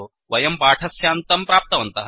वयं पाठस्यान्तं प्राप्तवन्तः